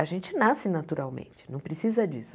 A gente nasce naturalmente, não precisa disso.